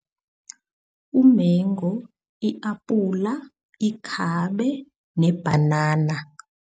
Umengu, i-apula, ikhabe nebhanana